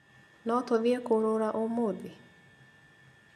No tũthiĩ kũrũra ũmũthĩ?